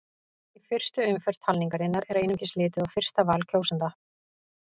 Í fyrstu umferð talningarinnar er einungis litið á fyrsta val kjósenda.